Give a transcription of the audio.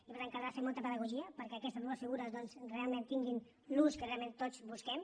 i per tant caldrà fer molta pedagogia perquè aquestes dues figures doncs realment tinguin l’ús que realment tots busquem